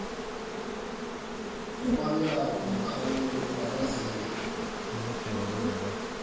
ukwabelana ngomkhawulo wamazinyo